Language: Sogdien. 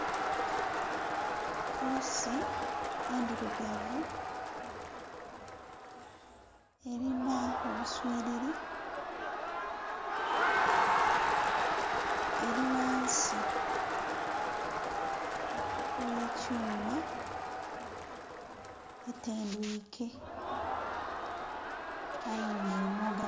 Puusi endhirugavu erina obuswiriri eri ghansi ghe kyuma etendwiike aye nga emoga.